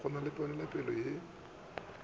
ba na le ponelopele ye